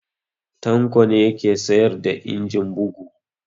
Tanko ne ya ke sayar da injin bugu